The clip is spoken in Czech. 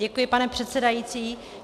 Děkuji, pane předsedající.